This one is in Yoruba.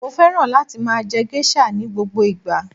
Mo féràn láti máa je geisha ni gbogbo ìgbà